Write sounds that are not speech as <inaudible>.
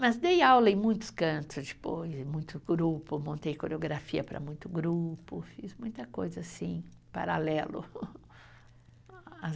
Mas dei aula em muitos cantos, depois, muito grupo, montei coreografia para muito grupo, fiz muita coisa assim, paralelo. <laughs> <unintelligible>